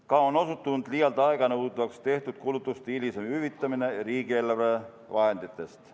Ka on osutunud liialt aeganõudvaks tehtud kulutuste hilisem hüvitamine riigieelarve vahenditest.